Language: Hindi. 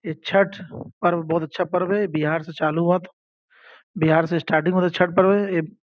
ये छठ पर्व बहुत अच्छा पर्व है बिहार से चालू हुआ था बिहार से स्टार्टिंग हुआ था छठ पर्व है।